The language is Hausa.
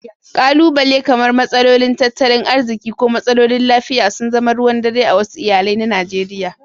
Ƙalubale kamar matsalolin tattalin arziki ko matsalolin lafiya sun zama ruwan dare a wasu iyalai na Najeriya.